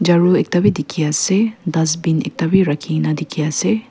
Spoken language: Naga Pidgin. charu ekta b dikhi ase dustbin ekta b rakhina dikhi ase.